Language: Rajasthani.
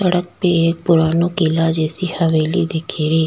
सड़क पे एक पुराणों किला जैसी हवेली दिखीरी।